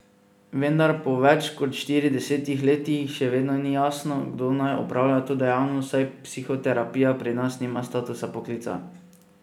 Vendar po več kot štiridesetih letih še vedno ni jasno, kdo naj opravlja to dejavnost, saj psihoterapija pri nas nima statusa poklica.